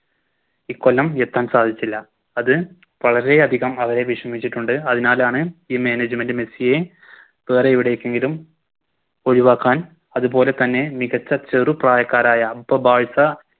ഇക്കോല്ലം ഉയർത്താൻ സാധിച്ചില്ല അത് വളരെയധികം അവരെ വിഷമിച്ചിട്ടുണ്ട് അതിനാലാണ് ഈ Management മെസ്സിയെ വേറെ എവിടേക്കെങ്കിലും ഒഴിവാക്കാൻ അതുപോലെ തന്നെ മികച്ച ചെറു പ്രായക്കാരായ ബോ ബാഴ്‌സ